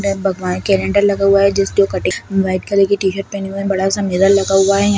भगवान का क्लेंडेर लगा हुआ है जिसकी जो कटिंग वाइट कलर की टी-शर्ट पहनी हुई है बड़ा-सा मिरर लगा हुआ है यह--